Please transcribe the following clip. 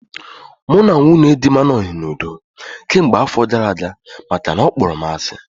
Mụ na nwunye dị m anoghi n'udo kemgbe afọ gara aga makana ọ kpọrọ m asị